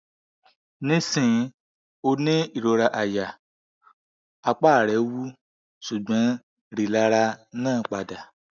nisin o ni irora aya apa re wu ṣugbọn rilara naa pada